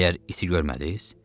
Məgər iti görmədiz?